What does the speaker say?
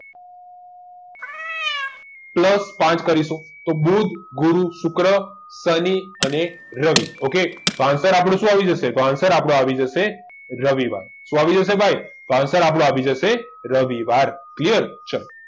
plus પાંચ કરીશું તો બુધ ગુરુ શુક્ર શનિ અને રવિ ઓકે તો answer આપણો શું આવી જશે તો answer આપણો આવી જશે રવિવાર શું આવી જશે ભાઈ તો okay આપણો આવી જશે રવિવાર ક્લિયર ચાલો